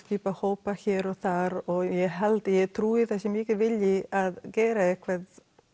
skipa hópa hér og þar og ég held eða ég trúi að það sé mikill vilji að gera eitthvað